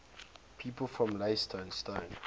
people from leytonstone